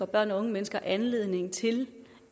børn og unge mennesker anledning til